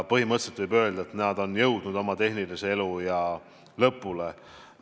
Põhimõtteliselt võib öelda, et need on jõudnud oma tehnilise eluea lõpule.